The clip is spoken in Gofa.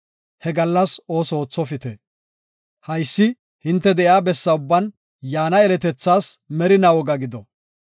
He gallas ooso oothopite. Haysi hinte de7iya bessa ubban yaana yeletethaas merinaa woga gido.